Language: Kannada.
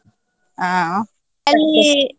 ಹಾ.